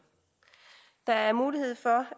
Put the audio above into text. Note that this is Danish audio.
der er mulighed for